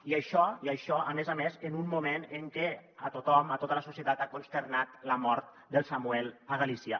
i això i això a més a més en un mo·ment en què a tothom a tota la societat ha consternat la mort del samuel a galícia